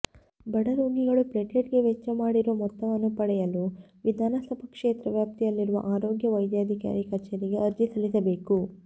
ಬಡರೋಗಿಗಳು ಪ್ಲೇಟ್ಲೆಟ್ಗೆ ವೆಚ್ಚ ಮಾಡಿರುವ ಮೊತ್ತವನ್ನು ಪಡೆಯಲು ವಿಧಾನಸಭಾ ಕ್ಷೇತ್ರ ವ್ಯಾಪ್ತಿಯಲ್ಲಿರುವ ಆರೋಗ್ಯ ವೈದ್ಯಾಧಿಕಾರಿ ಕಚೇರಿಗೆ ಅರ್ಜಿ ಸಲ್ಲಿಸಬೇಕು